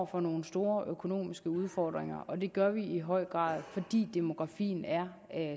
for nogle store økonomiske udfordringer og det gør vi i høj grad fordi demografien er